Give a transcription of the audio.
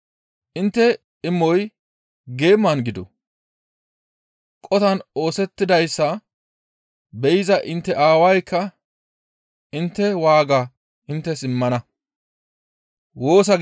Intte imoy geeman gido; qotan oosettidayssa be7iza intte Aawaykka intte waaga inttes immana.